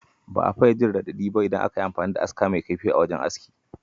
Ba a fiya jin radadi ba idan aka yi amfani da aska mai kaifi a wajen aski.